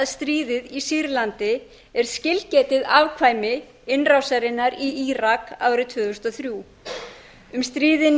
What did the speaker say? stríðið í sýrlandi er skilgetið afkvæmi innrásarinnar í írak árið tvö þúsund og þrjú um stríðin